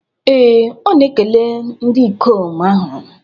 Ee, ọ na-ekele ndị ikom ahụ.